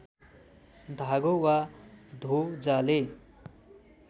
धागो वा ध्वजाले